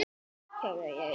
er Sveinn Jörundur að gera?